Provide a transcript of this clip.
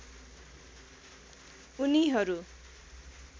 उनीहरू